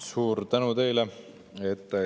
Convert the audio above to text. Suur tänu teile!